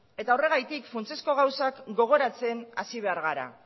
eta horregatik funtsezko gauzak gogoratzen hasi behar gara